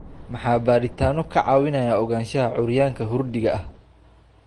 Maxaa baadhitaanno ka caawinaya ogaanshaha curyaanka curyaanka hurdiga ah?